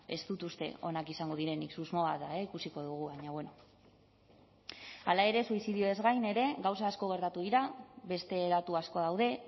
ez dut uste onak izango direnik susmoa da ikusiko dugu baina bueno hala ere suizidioez gain ere gauza asko gertatu dira beste datu asko daude